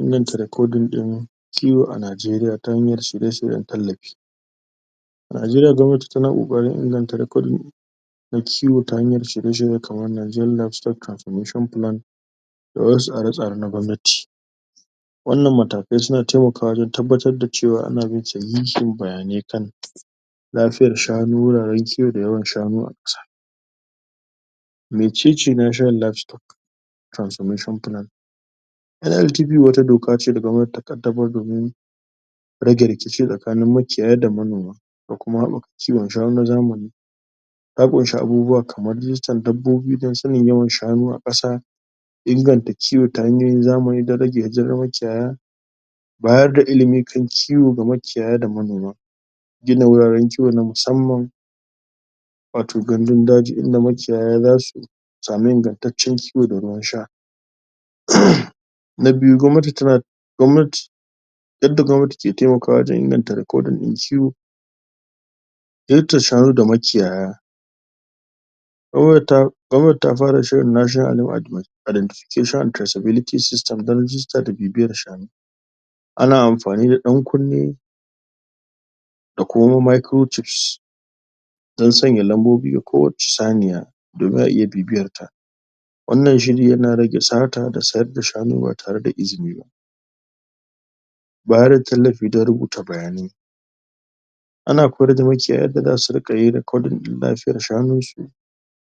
Inganta recording ɗin kiwo a Najeriya ta hanyar shirye-shiryen tallafi A Najeriya gwamnati tana ƙoƙarin inganta recording kiwo ta hanyar shirye-shirye kamar Nigerian Livestock Transmission plan da wasu tsare-tsare na gwamnati wannan matakai suna taimakawa wajen tabbatar da cewa ana bin sahihin bayani kan lafiyar shanu wuraren kiwo da yawan shanu a kusa me ne ce Livestock tranmission plan wato doka ce da gwamnati ta ƙaddamar domin rage rikici tsakanin manoma da makiyaya da kuma haɓaka kiwon shanu na zamani ya ƙunshi abubuwa kamar rijistar dabbobi don sanin yawan shanu a ƙasa inganta kiwo ta hanyoyin zamani don rage yajojin makiyaya baya ga ilimi kan kiwo ga makiyaya da manoma gina wuraren kiwo na musamman wato gandun daji inda makiyaya za su samu ingantaccen kiwo da ruwan sha na biyu gwamnati tana gwamnati yadda gwamnati ke taimakawa wajen inganta recording ɗin kiwo ziyartar shanu da makiyaya gwamnati ta gwamnati ta fara shirin National Identification and possibility system don rijista da bibiyar shanu a amfani da ɗan kunne da kuma wani microchips don sanya lambobi ga kowace saniya da za a iya bibiyarta wannan shiri yana rage sata da sayar da shanu ba tare da izini ba bayar da tallafi don rubuta bayanai ana koyar da makiyaya yadda za su riƙa yin recording ɗin lafiyar shanunsu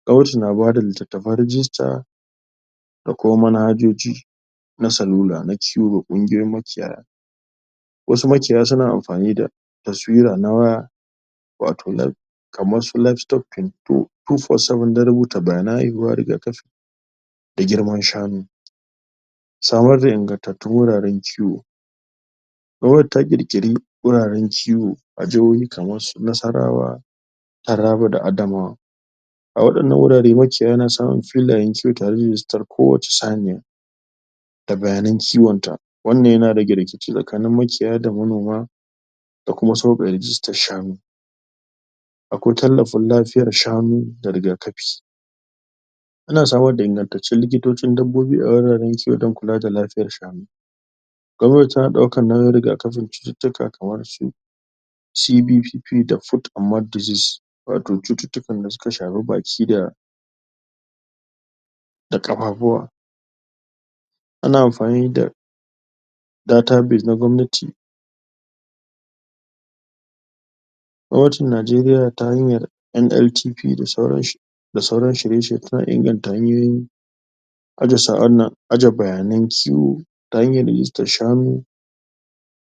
gwamnati na bayar da littattafa rijista da kuma manhajoji na salula na kiwo ga ƙungiyoyin makiyaya wasu makiyaya suna amfani da taswira na wato na kamarsu livestock control don rubuta bayanan haihuwar riga kafi da girman shanu samar da ingantattun wuraren kiwo gwamnati ta ƙirƙiri wuraren kiwo a jahohi kamar Nassarawa Taraba da Adamawa a waɗannan wurare makiyaya na samun filayen kiwo tare da rijistar kowace saniya da bayanan kiwon ta wannan yana rage rikici tsakanin manoma da makiyaya da sauƙaƙe rijistar shanu akwai tallafin lafiyar shanu da riga kafi ana samar da ingantattun likitocin dabbobi a wuraren kiwo don kula da lafiyar shanu gwamnati tana ɗaukar nauyin rigakafin cututtuka kamarsu CBPP da Foot and mouth diseases wato cututtukan da suka shafi baki da da ƙafafuwa ana amfani da database na gwamnati gwamnatin Najeriya ta yi ma NITP da sauransu da sauran shirye shirye kan inganta hanyoyin aje bayanan kiwo ta hanyar rijistar shanu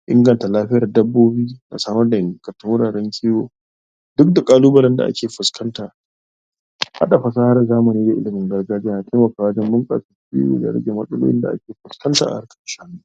inganta lafiyar dabbobi da samar da wuraren kiwo duk da ƙalubalen da ake fuskanta haɗa fasahar zamani da ilimin gargajiya na taimakawa wajen bunƙasa kiwo da rage matsalolin da ake fuskanta a harkar shanu.